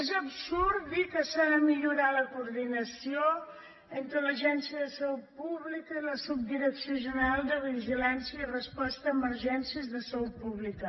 és absurd dir que s’ha de millorar la coordinació entre l’agència de salut pública i la subdirecció general de vigilància i resposta a emergències de salut pública